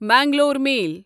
Mangalore میل